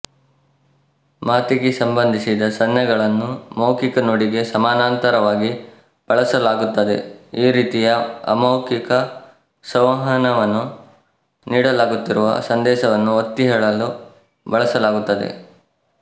ಮಾತಿಗೆ ಸಂಬಂಧಿಸಿದ ಸನ್ನೆಗಳನ್ನು ಮೌಖಿಕ ನುಡಿಗೆ ಸಮಾನಾಂತರವಾಗಿ ಬಳಸಲಾಗುತ್ತದೆ ಈ ರೀತಿಯ ಅಮೌಖಿಕ ಸಂವಹನವನ್ನು ನೀಡಲಾಗುತ್ತಿರುವ ಸಂದೇಶವನ್ನು ಒತ್ತಿಹೇಳಲು ಬಳಸಲಾಗುತ್ತದೆ